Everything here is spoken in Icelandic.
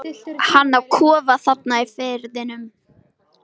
Hann á kofa þarna í firðinum.